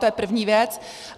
To je první věc.